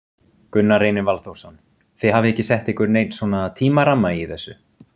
Gunnar Reynir Valþórsson: Þið hafið ekki sett ykkur neinn svona tímaramma í þessu?